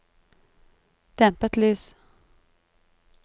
dempet lys